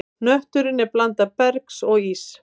Hnötturinn er blanda bergs og íss.